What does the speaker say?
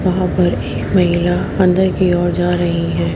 वहां पर एक महिला अंदर की ओर जा रही है।